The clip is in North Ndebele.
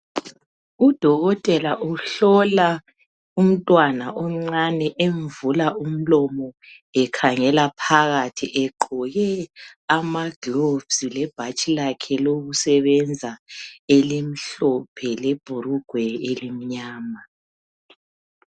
Udokotela uhlola umntwana omncane emvula umlomo ekhangela phakathi egqoke amagloves lebhatshi lakhe lokusebenza elimhlophe lebhurugwe elimnyama